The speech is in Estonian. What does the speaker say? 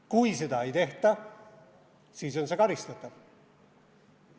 Kui seda ei tehta, siis on see karistatav.